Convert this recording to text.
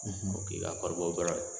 k'i ka kɔɔrribɔ bɔrɛ